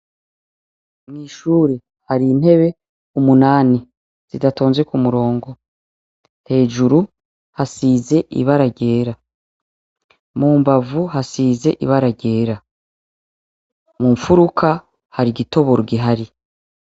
Mw'ishure har'intete umunani zidatonze k'umurongo, hejuru hasize ibara ryera, mumbavu hasize ibara ryera, mumfuruka har'igitoboro gihari.